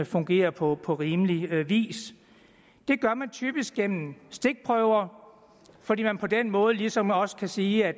fungerer på på rimelig vis det gør man typisk gennem stikprøver fordi man på den måde ligesom også kan sige at